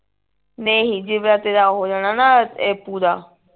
ਨਹੀਂ ਜਿਵੇਂ ਤੇਰਾ ਆਹ ਹੋ ਜਾਣਾ ਨਾ ਇਹ ਪੂਰਾ